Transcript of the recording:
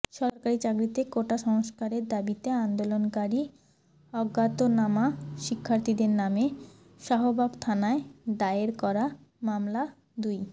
সরকারি চাকরিতে কোটা সংস্কারের দাবিতে আন্দোলনকারী অজ্ঞাতনামা শিক্ষার্থীদের নামে শাহবাগ থানায় দায়ের করা মামলা দুই